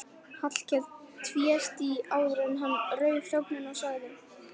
Hallkell tvísté áður en hann rauf þögnina og sagði